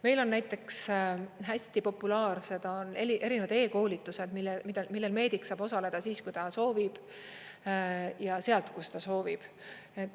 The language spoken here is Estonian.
Meil on näiteks hästi populaarsed erinevad e-koolitused, millel meedik saab osaleda siis, kui ta soovib, ja sealt, kust ta soovib.